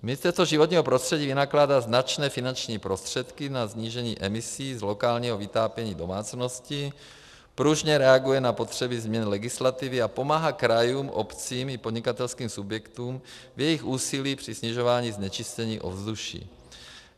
Ministerstvo životního prostředí vynakládá značné finanční prostředky na snížení emisí z lokálního vytápění domácností, pružně reaguje na potřeby změn legislativy a pomáhá krajům, obcím i podnikatelským subjektům v jejich úsilí při snižování znečištění ovzduší.